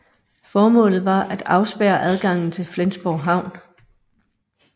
Formålet var at afspærre adgangen til Flensborg havn